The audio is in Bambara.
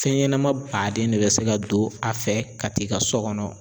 Fɛn ɲɛnama baden de be se ka don a fɛ , ka t'i ka so kɔnɔ.